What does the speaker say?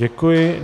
Děkuji.